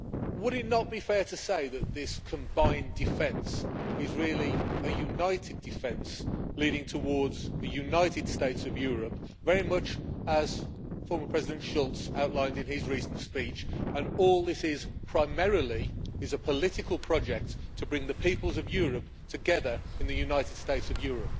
Would it not be fair to say that this combined defence is really a united defence, leading towards the United States of Europe, very much as former President Schulz outlined in his recent speech and all this is, primarily, is a political project, to bring the peoples of Europe together in the United States of Europe?